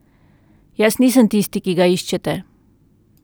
Jaz nisem tisti, ki ga iščete.